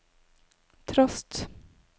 trost